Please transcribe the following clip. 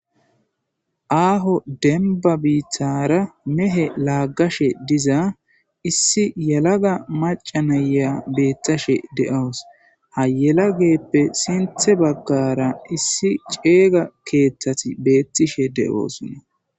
aaho denba biittara mehe laaggashe diza issi yalaga maca naya beettashe de7aws hayelageppe sinthe baggara issi ceega keeththati beettishe de7oosunna